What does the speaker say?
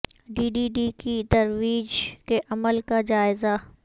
D D D کی ترویج کے عمل کا جائزہ